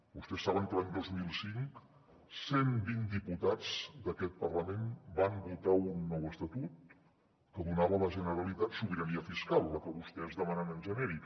vostès saben que l’any dos mil cinc cent vint diputats d’aquest parlament van votar un nou estatut que donava a la generalitat sobirania fiscal la que vostès demanen en genèric